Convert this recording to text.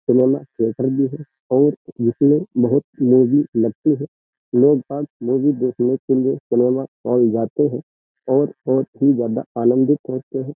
Cinema theatre भी है और जिसमें बहुत मूवी लगती है लोग मूवी देखने के लिए सिनेमा हाल जाते हैं और बहुत ही ज्यादा आनंदित होते हैं।